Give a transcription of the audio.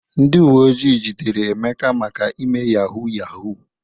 Ndị uwe ojii jidere Emeka maka ime yahuu yahuu.